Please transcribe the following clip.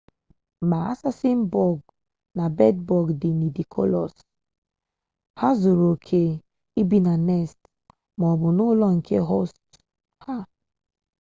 ma assassin-bọg na bed-bọg dị nidikolous ha zuru oke ibi na nest maọbụ n'ụlọ nke hostu ha